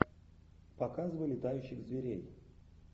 показывай летающих зверей